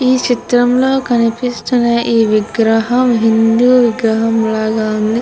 ఈ చిత్రం లో కనిపిస్తున్న ఈ విగ్రహం హిందూ విగ్రహం లాగ వుంది.